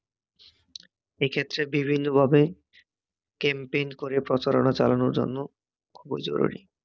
এক্ষেত্রে ভিবিন্ন ভাবে ক্যাম্পেইন করে প্রচারণা চালানোর জন্য খুবই জরুরী।